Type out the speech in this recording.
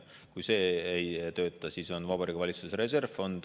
Kui see ei tööta, siis on Vabariigi Valitsuse reservfond.